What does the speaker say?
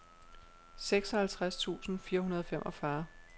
seksoghalvtreds tusind fire hundrede og femogfyrre